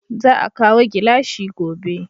Za a kawo gilashi gobe